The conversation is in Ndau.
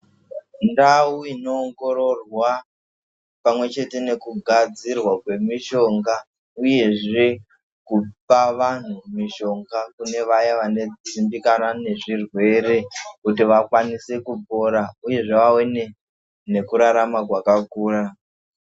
Ndau inoongororwa pamwechete nekugadzirwa kwemishonga uyezve kupa vanhu mishonga kune vaya vanodzimbikana nezvirwere kuti vakwanise kupora uyezve vawe nekurarama kwakakura.